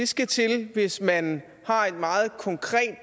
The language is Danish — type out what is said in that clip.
skal til hvis man har et meget konkret